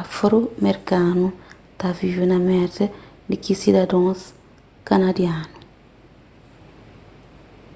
afro-merkanu ta vive na merka di ki sidadons kanadianu